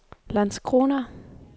Landskrona